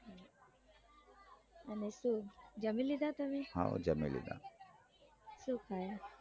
અને શું જામી શું ખાય